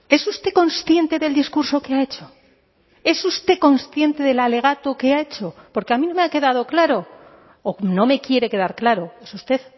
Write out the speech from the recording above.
es usted consciente del discurso que ha hecho es usted consciente del alegato que ha hecho porque a mí no me ha quedado claro o no me quiere quedar claro es usted